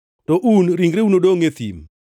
To un, ringreu nodongʼ e thim.